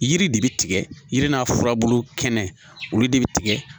Yiri de bɛ tigɛ yiri n'a furabulu kɛnɛ kɛnɛ olu de bɛ tigɛ